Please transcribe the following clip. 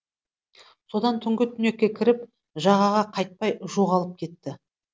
содан түнгі түнекке кіріп жағаға қайтпай жоғалып кетті